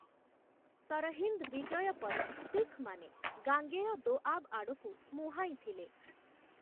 ସରହିନ୍ଦ' ବିଜୟ ପରେ ଶିଖ୍‌ମାନେ 'ଗାଙ୍ଗେୟ ଦୋଆବ୍‌' ଆଡ଼କୁ ମୁହାଁଇଥିଲେ ।